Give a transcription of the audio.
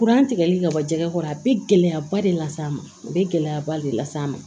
Kuran tigɛli ka bɔ jɛgɛ kɔrɔ a bɛ gɛlɛyaba de las'a ma a bɛ gɛlɛyaba de las'a ma